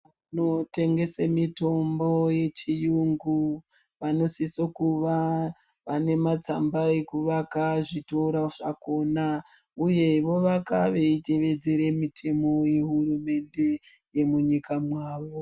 Vanotengese mitombo yechiyungu vanosiso kuva vanematsamba ekuvaka zvitoro zvakhona uye vovaka veitevedzere mitemo yehurumende yemunyika mwavo.